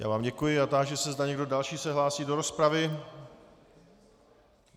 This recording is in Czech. Já vám děkuji a táži se, zda někdo další se hlásí do rozpravy.